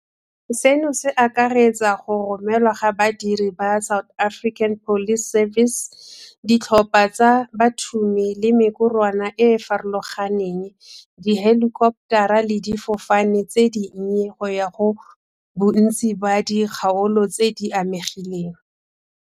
Seno se akaretsa go romelwa ga badiri ba SAPS, ditlhopha tsa bathumi le mekorwana e e farologaneng, dihelikoptara le difofane tse dinnye go ya go bontsi ba dikgaolo tse di amegileng.